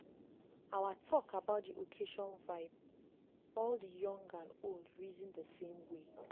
our talk about dey occasion vibe all dey young and old reason dey same way.